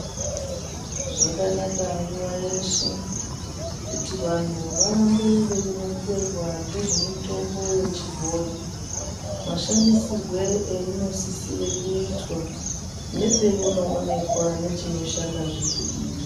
Zvakanaka nguwa yeshe kuti vantu varambe veironzerwa ngezvemitombo yechibhoyi, mashandisirwe einosisire kuitwa nepeinoonekwa nechinoshandazve peiri.